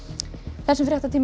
þessum fréttatíma er